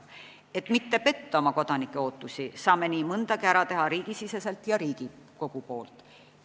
Et mitte petta oma kodanike ootusi, saame nii mõndagi ära teha riigisiseselt ja Riigikogu poolt.